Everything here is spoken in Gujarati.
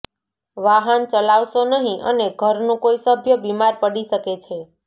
વાહન ચલાવશો નહીં અને ઘરનું કોઈ સભ્ય બીમાર પડી શકે છે